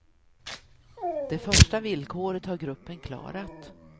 Det första villkoret har gruppen klarat.